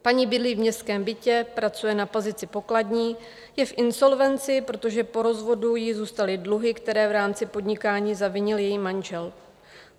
Paní bydlí v městském bytě, pracuje na pozici pokladní, je v insolvenci, protože po rozvodu jí zůstaly dluhy, které v rámci podnikání zavinil její manžel.